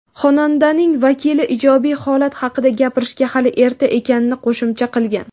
Xonandaning vakili ijobiy holat haqida gapirishga hali erta ekanini qo‘shimcha qilgan.